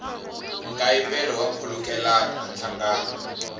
nkayivelo wa nkhulukelano na nhlangano